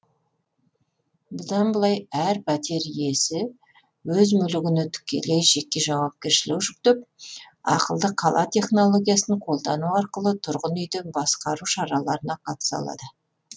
бұдан былай әр пәтер иесі өз мүлігіне тікелей жеке жауапкершілік жүктеп ақылды қала технологиясын қолдану арқылы тұрғын үйді басқару шараларына қатыса алады